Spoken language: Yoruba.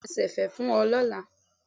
Bẹ́ẹ̀ni, mo máa ṣẹ̀fẹ̀ fún ẹ lọ́la.